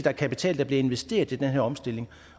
er kapital der bliver investeret i den her omstilling